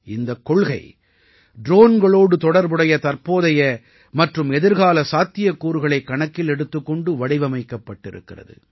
இந்தக் கொள்கை ட்ரோன்களோடு தொடர்புடைய தற்போதைய மற்றும் எதிர்கால சாத்தியக்கூறுகளைக் கணக்கில் எடுத்துக் கொண்டு வடிவமைக்கப் பட்டிருக்கிறது